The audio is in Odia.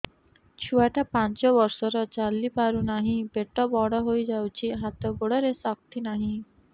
ଛୁଆଟା ପାଞ୍ଚ ବର୍ଷର ଚାଲି ପାରୁ ନାହି ପେଟ ବଡ଼ ହୋଇ ଯାଇଛି ହାତ ଗୋଡ଼ରେ ଶକ୍ତି ନାହିଁ